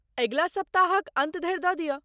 अगिला सप्ताहक अन्त धरि दऽ दिअ।